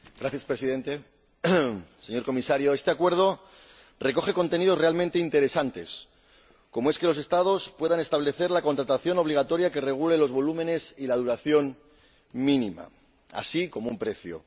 Señor Presidente, señor Comisario, este acuerdo recoge contenidos realmente interesantes, como que los Estados puedan establecer la contratación obligatoria que regule los volúmenes y la duración mínima, así como un precio.